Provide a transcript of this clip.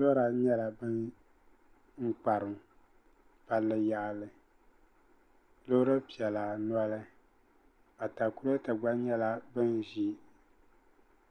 Lora nyɛla bin kparim palli yaɣali loori piɛla noli atakulɛta gba nyɛla din ʒi